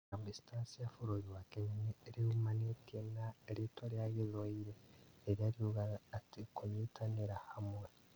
Harambe Stars ya bũrũri wa Kenya riumanĩte na rĩtwa rĩa gĩthwaĩri rĩrĩa riugaga atĩ "kunyitanĩra hamwe"